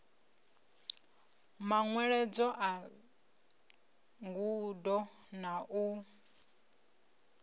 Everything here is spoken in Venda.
manweledzo a ngudo na u